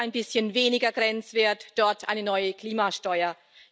Hier ein bisschen weniger Grenzwert, dort eine neue Klimasteuer.